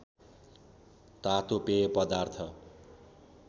तातो पेय पदार्थ